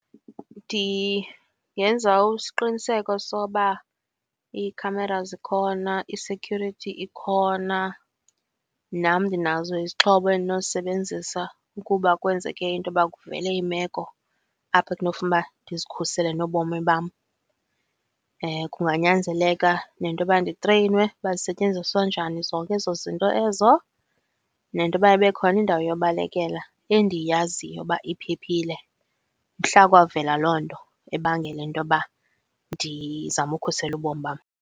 Ndingenza isiqiniseko soba ii-cameras zikhona, i-security ikhona, nam ndinazo izixhobo endinozisebenzisa ukuba kwenzeke intoba kuvele imeko apho ekunofuna uba ndizikhusele nobomi bam. Kunganyanzeleka nentoba nditreyinwe uba zisetyenziswa njani zonke ezo zinto ezo, nentoba ibe khona indawo yobalekela endiyaziyo uba iphephile mhla kwavela loo nto ebangela intoba ndizame ukhusela ubomi bam.